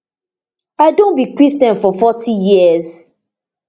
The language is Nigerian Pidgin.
i don be christian for forty years